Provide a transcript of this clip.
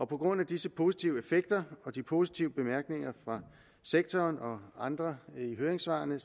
på grund af disse positive effekter og de positive bemærkninger fra sektoren og andre i høringssvarene